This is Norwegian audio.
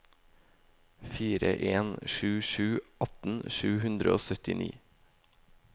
fire en sju sju atten sju hundre og syttini